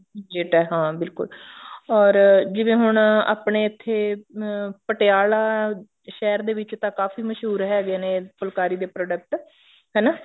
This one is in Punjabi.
ਜੇ ਤਾਂ ਹਾਂ ਬਿਲਕੁਲ or ਜਿਵੇਂ ਹੁਣ ਆਪਣੇ ਇੱਥੇ ਅਮ ਪਟਿਆਲਾ ਸ਼ਹਿਰ ਦੇ ਵਿੱਚ ਤਾਂ ਕਾਫੀ ਮਸ਼ਹੂਰ ਹੈਗੇ ਨੇ ਫੁਲਕਾਰੀ ਦੇ product ਹਨਾ